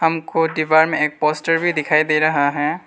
हमको दीवार में एक पोस्टर भी दिखाई दे रहा है।